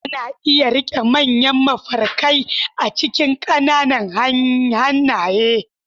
Ana iya riƙe manyan mafarkai a cikin ƙananan hannaye.